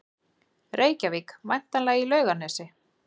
Reykjavík, væntanlega í Laugarnesi.